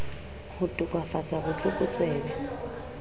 ho to kafatsa bot lokotsebe